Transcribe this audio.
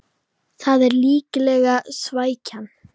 Það er líklega svækjan